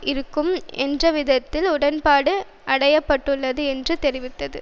இருக்கும் என்றவிதத்தில் உடன்பாடு அடையப்பட்டுள்ளது என்று தெரிவித்தது